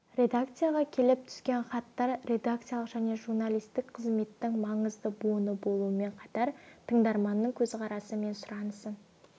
редакцияға келіп түскен хаттар редакциялық және журналистік қызметтің маңызды буыны болумен қатар тыңдарманның көзқарасы мен сұранысын